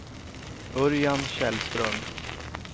Örjan Källström